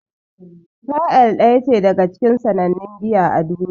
Pale Ale daya ce daga cikin sannannun giya a duniya.